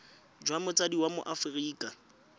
jwa motsadi wa mo aforika